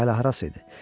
Bu hələ harası idi?